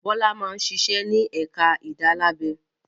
Bọ́lá máa ń ṣiṣẹ́ ní ẹ̀ka ìdálábẹ.